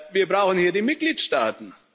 Wir brauchen hier die Mitgliedstaaten.